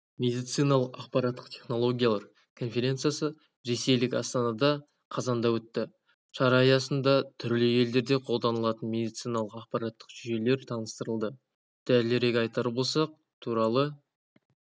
медицинадағы ақпараттық технологиялар конференциясы ресейлік астанада қазанда өтті шара аясында түрлі елдерде қолданылатын медициналық ақпараттық жүйелер таныстырылды дәлірек айтар болсақ туралы